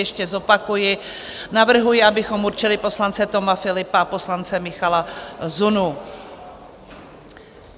Ještě zopakuji, navrhuji, abychom určili poslance Toma Philippa a poslance Michala Zunu.